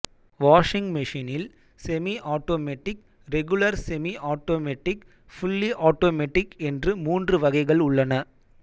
washing மெஷினில் semi automatic regular semi automatic fully automatic என்று மூன்று வகைகள் உள்ளன